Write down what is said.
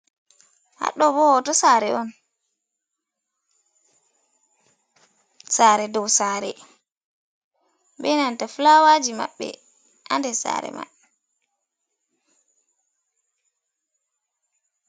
Had ɗo bow hoto sare on sare dou sare be nanta flawaji maɓɓe ha nder sare man.